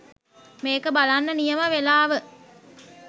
මේක බලන්න නියම වෙලාව.